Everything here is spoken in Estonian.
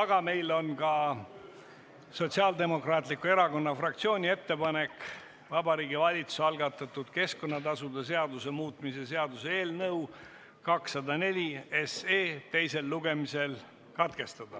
aga meil on ka Sotsiaaldemokraatliku Erakonna fraktsiooni ettepanek Vabariigi Valitsuse algatatud keskkonnatasude seaduse muutmise seaduse eelnõu 204 teine lugemine katkestada.